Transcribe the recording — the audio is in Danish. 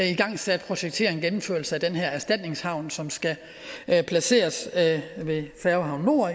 igangsat projekteringen og gennemførelsen af den her erstatningshavn som skal placeres ved færgehavn nord